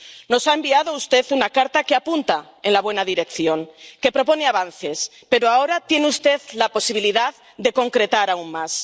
Nos ha enviado usted una carta que apunta en la buena dirección, que propone avances, pero ahora tiene usted la posibilidad de concretar aún más.